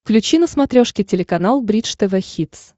включи на смотрешке телеканал бридж тв хитс